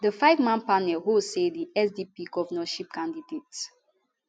di fiveman panel hold say di sdp govnorship candidate